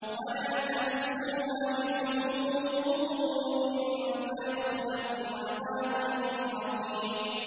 وَلَا تَمَسُّوهَا بِسُوءٍ فَيَأْخُذَكُمْ عَذَابُ يَوْمٍ عَظِيمٍ